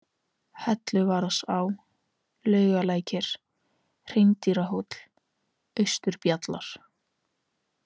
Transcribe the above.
Helluvaðsá, Laugalækir, Hreindýrahóll, Austurbjallar